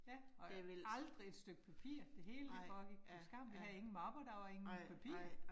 Ja og aldrig et stykke papir. Det hele det foregik på skærmen, vi havde ingen mapper der var ingen papir